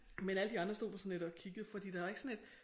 Men alle de andre stod bare sådan lidt og kiggede fordi der er ikke sådan et